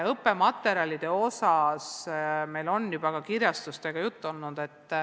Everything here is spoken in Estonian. Õppematerjalidest on meil juba kirjastustega juttu olnud.